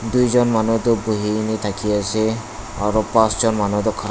dui jon manu to bohi ne thake ase aru paanch jon manu tu kha--